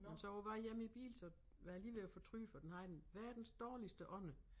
Men så på vej hjem i æ bil så var jeg lige ved at fortryde for den har en verdens dårligste ånde